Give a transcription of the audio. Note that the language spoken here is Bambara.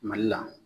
Mali la